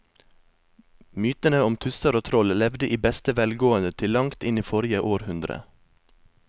Mytene om tusser og troll levde i beste velgående til langt inn i forrige århundre.